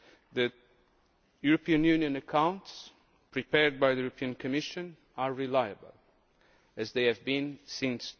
that the EU accounts prepared by the European Commission are reliable, as they have been since